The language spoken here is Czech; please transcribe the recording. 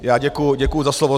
Já děkuji za slovo.